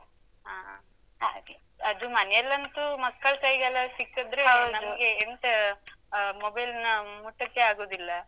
ಹಾ ಹಾ ಹಾಗೆ. ಅದು ಮನೆಯಲ್ಲಂತೂ ಮಕ್ಕಳ ಕೈಗೆಲ್ಲ ಸಿಕ್ಕಿದ್ರೆ ನಮ್ಗೆ ಎಂತ ಆ mobile ನ ಮುಟ್ಟಕ್ಕೇ ಆಗುದಿಲ್ಲ.